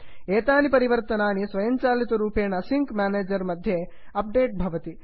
एतानि परिवर्तनानि स्वयञ्चालितरूपेण सिङ्क् म्यानेजर् मध्ये अप्डेट् भवति